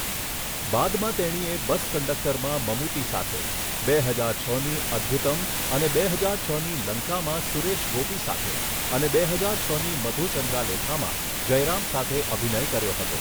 બાદમાં તેણીએ 'બસ કન્ડક્ટર'માં મમૂટી સાથે, બે હજાર છની 'અદ્ભૂતમ' અને બે હજાર છની 'લંકા' માં સુરેશ ગોપી સાથે અને બે હજાર છની મધુચંદ્રાલેખામાં જયરામ સાથે અભિનય કર્યો હતો.